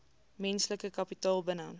menslike kapitaal binne